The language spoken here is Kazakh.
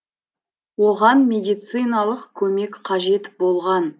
оған медициналық көмек қажет болған